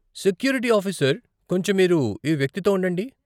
Security officer , కొంచెం మీరు ఈ వ్యక్తి తో ఉండండి.